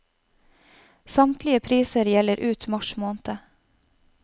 Samtlige priser gjelder ut mars måned.